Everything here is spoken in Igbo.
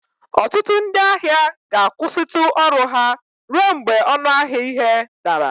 Ọtụtụ ndị ahịa ga-akwụsịtụ ọrụ ha ruo mgbe ọnụ ahịa ihe dara